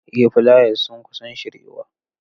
Ee fulayas sun kusan shiryuwa.